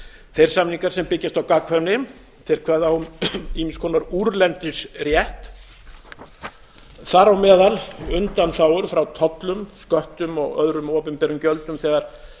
þeir samningar sem byggjast á gagnkvæmni kveða á um ýmiss konar úrlendisrétt þar á meðal undanþágur frá tollum sköttum og öðrum opinberum gjöldum þegar